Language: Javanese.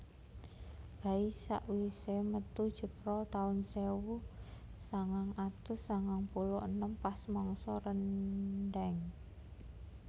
Bayi sak wise metu jebrol taun sewu sangang atus sangang puluh enem pas mangsa rendheng